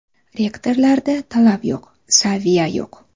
Rektorlarda talab yo‘q, saviya yo‘q.